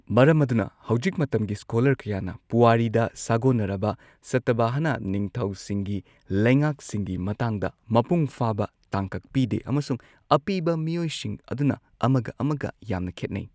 ꯃꯔꯝ ꯑꯗꯨꯅ ꯍꯧꯖꯤꯛ ꯃꯇꯝꯒꯤ ꯁ꯭ꯀꯣꯂꯔ ꯀꯌꯥꯅ ꯄꯨꯋꯥꯔꯤꯗ ꯁꯥꯒꯣꯟꯅꯔꯕ ꯁꯇꯚꯍꯅ ꯅꯤꯡꯊꯧꯁꯤꯡꯒꯤ ꯂꯩꯉꯥꯛꯁꯤꯡꯒꯤ ꯃꯇꯥꯡꯗ ꯃꯄꯨꯡ ꯐꯥꯕ ꯇꯥꯡꯀꯛ ꯄꯤꯗꯦ ꯑꯃꯁꯨꯡ ꯑꯄꯤꯕ ꯃꯤꯑꯣꯏꯁꯤꯡ ꯑꯗꯨꯅ ꯑꯃꯒ ꯑꯃꯒ ꯌꯥꯝꯅ ꯈꯦꯠꯅꯩ꯫